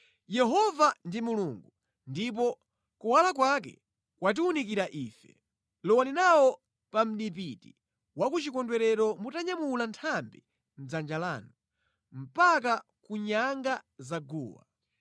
Yehova ndi Mulungu, ndipo kuwala kwake kwatiwunikira Ife. Lowani nawo pa mʼdipiti wa ku chikondwerero mutanyamula nthambi mʼdzanja lanu, mpaka ku nyanga za guwa.